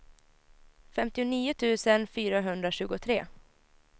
femtionio tusen fyrahundratjugotre